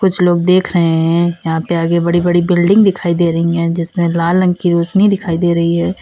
कुछ लोग देख रहे हैं यहां पे आगे बड़ी बड़ी बिल्डिंग दिखाई दे रही हैं जिसमें लाल रंग की रोशनी दिखाई दे रही है।